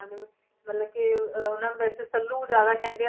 ਦੇ ਮਤਲਬ ਕਿ ਅਹ ਉਹਨਾਂ ਨੂੰ ਵੈਸੇ ਸੱਲੂ ਜ਼ਿਆਦਾ ਕਹਿੰਦੇ ਆ,